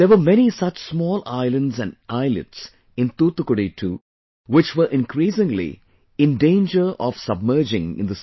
There were many such small islands and islets in Thoothukudi too, which were increasingly in danger of submerging in the sea